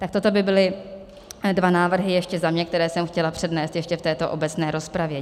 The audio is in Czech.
Tak toto by byly dva návrhy ještě za mě, které jsem chtěla přednést ještě v této obecné rozpravě.